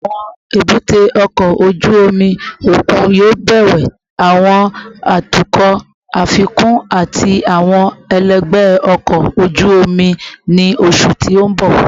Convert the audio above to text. Awọn ebute oko oju omi okun yoo bẹwẹ awọn atukọ afikun ati awọn ẹlẹgbẹ ọkọ oju omi ni oṣu ti n bọ